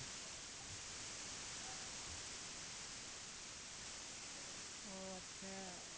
ওহ আচ্ছা